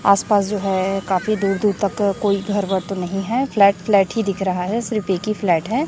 आस पास जो है काफी दूर दूर तक कोई घर वर तो नहीं है फ्लैट फ्लैट ही दिख रहा है सिर्फ एक ही फ्लैट है।